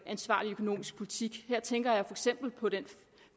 ansvarlig økonomisk politik her tænker jeg eksempel på den